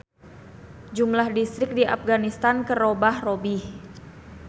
Jumlah distrik di Apganistan geus robah-robih.